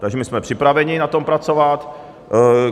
Takže my jsme připraveni na tom pracovat.